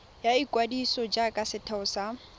ya ikwadiso jaaka setheo sa